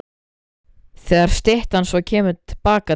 Þegar styttan svo kemur til baka til